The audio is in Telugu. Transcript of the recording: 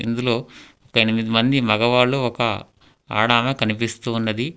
ఇందులో ఎనిమిది మంది మగవాళ్ళు ఒక ఆడామా కనిపిస్తు ఉన్నది.